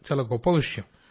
చాలా గొప్ప విషయం